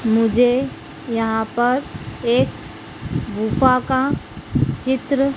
मुझे यहां पर एक गुफा का चित्र--